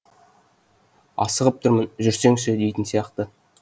асығып тұрмын жүрсеңші дейтін сияқты